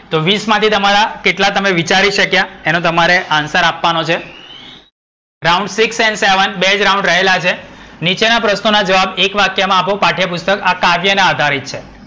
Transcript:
તો વીસ માથી તમારા કેટલા તમે વિચારી શક્યા? એનો તમારે answer આપવાનો છે. round six and seven બે જ રાઉન્ડ રહેલા છે. નીચેના પ્રશ્નોના જવાબ એક વાક્ય માં આપો પાઠ્યપુસ્તક. આ કાવ્યના આધારિત છે.